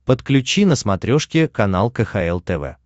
подключи на смотрешке канал кхл тв